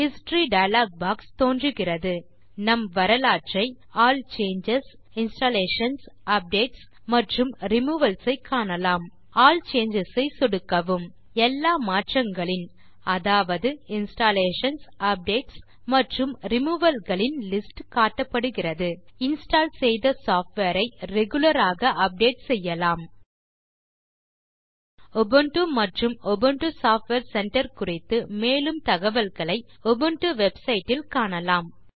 history dialog box தோன்றுகிறது நம் வரலாற்றை ஆல் சேஞ்சஸ் இன்ஸ்டாலேஷன்ஸ் அப்டேட்ஸ் மற்றும் ரிமூவல்ஸ் ஐ காணலாம் ஆல் சேஞ்சஸ் ஐ சொடுக்கவும் எல்லா மாற்றங்களின் அதாவது இன்ஸ்டாலேஷன்ஸ் அப்டேட்ஸ் மற்றும் ரிமூவல்ஸ் இன் லிஸ்ட் காட்டப்படுகிறது இன்ஸ்டால் செய்த சாஃப்ட்வேர் ஐ ரெகுலர் ஆக அப்டேட் செய்யலாம் உபுண்டு மற்றும் உபுண்டு சாஃப்ட்வேர் சென்டர் குறித்து மேலும் தகவல்களை உபுண்டு வெப்சைட் இல் காணலாம்